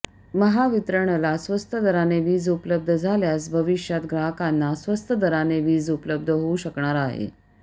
महावितरणला स्वस्त दराने वीज उपलब्ध झाल्यास भविष्यात ग्राहकांना स्वस्त दराने वीज उपलब्ध होऊ शकणार आहे